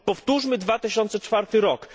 Powtórzmy 2004 rok!